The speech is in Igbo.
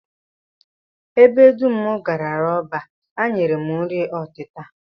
Ebe dum m garala ọbịa, ha nyere m nri ọtịta